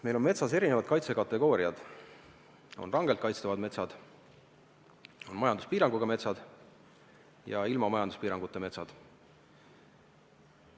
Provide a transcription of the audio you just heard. Meil on metsas erinevad kaitsekategooriad: on rangelt kaitstavad metsad, on majanduspiiranguga metsad ja ilma majanduspiiranguta metsad.